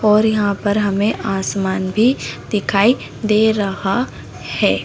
और यहाँ पर हमे आसमान भी दिखाई दे रहा है।